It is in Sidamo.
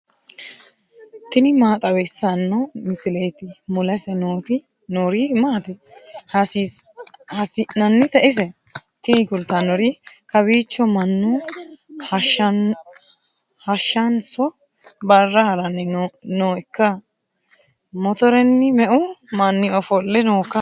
tini maa xawissanno misileeti ? mulese noori maati ? hiissinannite ise ? tini kultannori kawiicho mannu hashshanso barra haranni nooikka motoretenni me'u manni ofolle nooikka